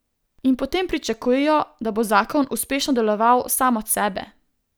In potem pričakujejo, da bo zakon uspešno deloval sam od sebe.